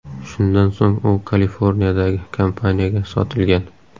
Shundan so‘ng u Kaliforniyadagi kompaniyaga sotilgan.